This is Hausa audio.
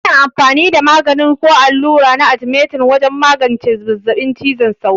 Ana amfani da magani ko allura na arthemeter wajen magance zazzabin cizon sauro.